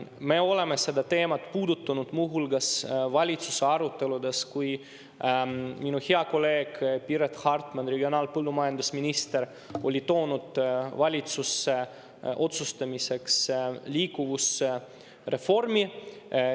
Me oleme seda teemat puudutanud muu hulgas valitsuse aruteludes, kui minu hea kolleeg Piret Hartman, regionaal‑ ja põllumajandusminister, oli toonud valitsusse otsustamiseks liikuvusreformi.